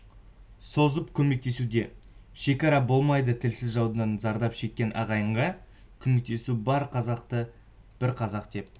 созып көмектесуде шекара болмайды тілсіз жаудан зардап шеккен ағайынға көмектесу бар қазақты бір қазақ деп